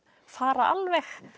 fara alveg